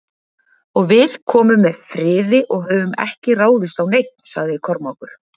Og við komum með friði og höfum ekki ráðist á neinn, sagði Kormákur.